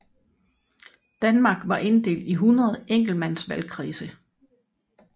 Danmark var inddelt i 100 enkeltmandsvalgkredse